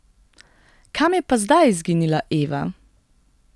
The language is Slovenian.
Kam je pa zdaj izginila Eva?